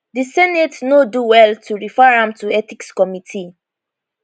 di senate no do well to refer am to ethics committee